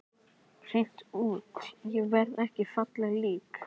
Hreint út: Ég verð ekki fallegt lík.